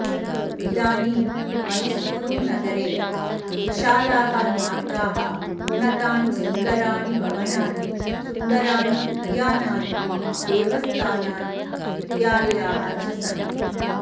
इदानीं मैसूरुनगरे विशालाः मार्गाः उन्नतानि सुन्दराणि भवनानि सुन्दराणि उद्यानानि देवस्थानानि विद्यालयाः च सन्ति